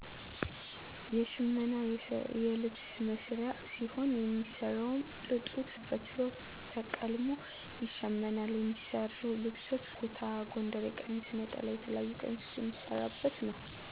የሽመና የልብስ መስሪያ ሲሆን የሚሰራዉም ጥጡ ተፈትሎ ተቀልሞ ይሸመናል የሚሰሩ ልብሶች ኩታ፣ ጎንደሬ ቀሚስ፣ ነጠላ የተለያዩ ቀሚሶች የሚሰራበት ነዉ።